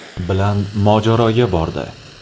bilan mojaroga bordi.